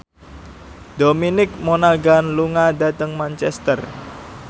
Dominic Monaghan lunga dhateng Manchester